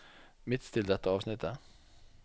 Midtstill dette avsnittet